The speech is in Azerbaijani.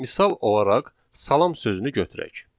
Misal olaraq salam sözünü götürək.